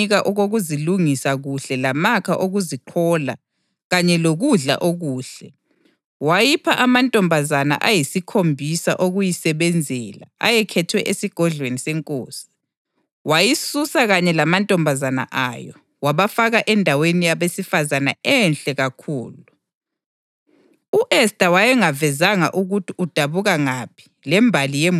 Intombazana le yamthokozisa wayithanda. Wahle wayinika okokuzilungisa kuhle lamakha okuziqhola kanye lokudla okuhle. Wayipha amantombazana ayisikhombisa okuyisebenzela ayekhethwe esigodlweni senkosi, wayisusa kanye lamantombazana ayo, wabafaka endaweni yabesifazane enhle kakhulu.